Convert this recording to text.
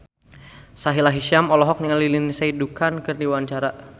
Sahila Hisyam olohok ningali Lindsay Ducan keur diwawancara